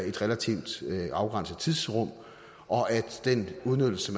et relativt afgrænset tidsrum og at den udnyttelse